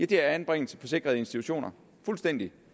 det er anbringelse på sikrede institutioner fuldstændig